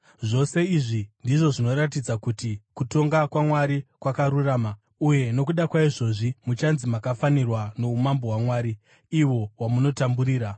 Zvose izvi ndizvo zvinoratidza kuti kutonga kwaMwari kwakarurama, uye nokuda kwaizvozvi muchanzi makafanirwa noumambo hwaMwari, ihwo hwamunotamburira.